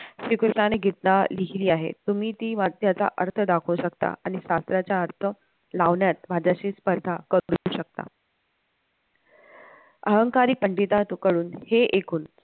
श्रीकृष्णाने गीता लिहिली आहे तुम्ही ती वाचल्याचा अर्थ दाखवू शकता आणि अर्थ लावण्यात माझ्याशी स्पर्धा करू शकता अहंकारी पंडित कडून हे एकूण